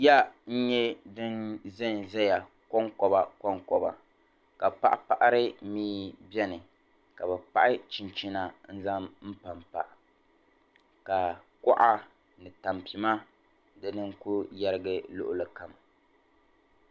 Ya n-nyɛ din zanzaya kɔŋkɔbakɔŋkɔba ka paɣipaɣiri mia beni ka bɛ paɣi chinchina n-zaŋ pampa ka kuɣa ni tampima dina n-ku yarigi luɣilikam.